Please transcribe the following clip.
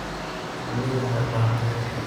Shinnidu waxay u baahan tahay biyo.